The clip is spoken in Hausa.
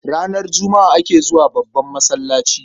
Ranar Juma'a ake zuwa babban masallaci.